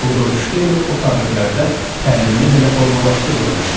Rudolf Şteyner o tarixlərdə təlimini hələ formalaşdırmamışdı.